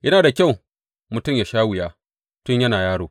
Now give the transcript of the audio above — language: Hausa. Yana da kyau mutum yă sha wuya tun yana yaro.